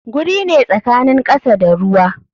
Guri ne tsakanin kasa da ruwa.